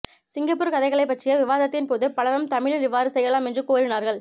Singapore கதைகளைப்பற்றிய விவாதத்தின்போது பலரும் தமிழில் இவ்வாறு செய்யலாம் என்று கோரினார்கள்